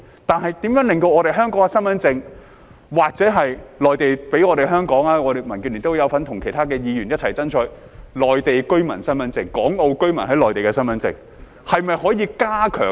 但是，如何令香港身份證或內地給香港......民建聯有份與其他議員一起爭取內地居民身份證，即港澳居民在內地的身份證，是否可以加強......